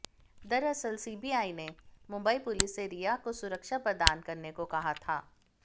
दरअसल सीबीआई ने मुंबई पुलिस से रिया को सुरक्षा प्रदान करने को कहा था